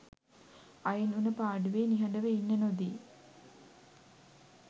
අයින් වුන පාඩුවෙ නිහඩව ඉන්න නොදි